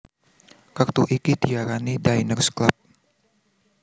Kertu iki diarani Diners Club